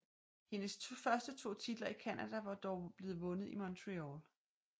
Hendes første to titler i Canada var dog blevet vundet i Montréal